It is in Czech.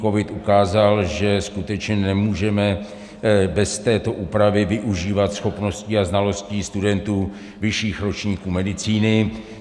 Covid ukázal, že skutečně nemůžeme bez této úpravy využívat schopností a znalostí studentů vyšších ročníků medicíny.